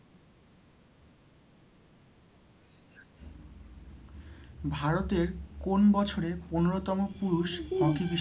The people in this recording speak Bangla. ভারতের কোন বছরে পনেরোতম পুরুষ hockey বিশ্বকাপ,